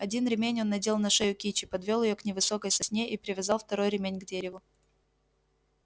один ремень он надел на шею кичи подвёл её к невысокой сосне и привязал второй ремень к дереву